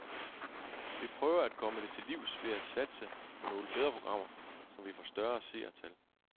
Vi prøver at komme det til livs ved at satse på nogle bedre programmer, så vi får større seertal.